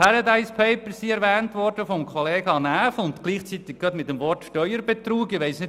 Die «Paradise Papers» wurden von Grossrat Näf gleichzeitig mit dem Wort Steuerbetrug erwähnt.